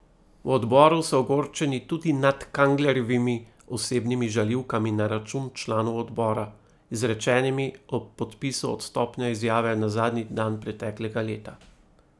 V odboru so ogorčeni tudi nad Kanglerjevimi osebnimi žaljivkami na račun članov odbora, izrečenimi ob podpisu odstopne izjave na zadnji dan preteklega leta.